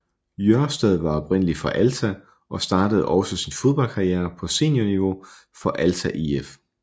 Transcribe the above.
Jørstad var oprindelig fra Alta og startede også sin fodboldkarriere på seniorniveau for Alta IF